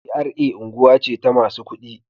GRA unguwa ce ta masu ƙuɗi.